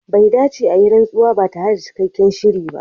Bai dace a yi rantsuwa ba tare da cikakken shiri ba.